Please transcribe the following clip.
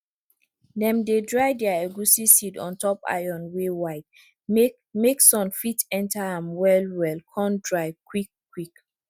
dem dey dry dere egusi seed ontop iron wey wide make make sun fit enter am well well con dry quick quick